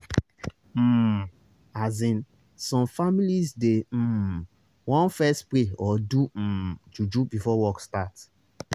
um asin some families dey um want fess pray or do um juju before work start